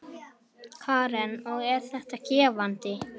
Hugrún: Hversu, hversu langt?